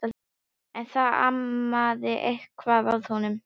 En það amaði eitthvað að honum.